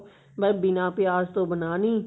ਬੱਸ ਬਿਨਾ ਪਿਆਜ ਤੋਂ ਬਣਾਉਣੀ